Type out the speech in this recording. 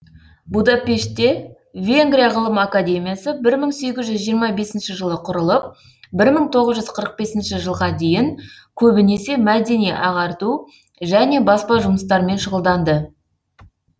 будапештте венгрия ғылым академиясы бір мың сегіз жүз жиырма бесінші жылы құрылып бір мың тоғыз жүз қырық бесінші жылға дейін көбінесе мәдени ағарту және баспа жұмыстармен шұғылданды